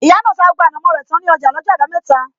Ìyá náà ta gbogbo ànàmó rẹ tán ní ọjà lọ́jọ́ abameta